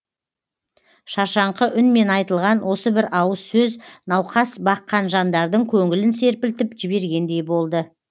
шаршаңқы үнмен айтылған осы бір ауыз сөз науқас баққан жандардың көңілін серпілтіп жібергендей болды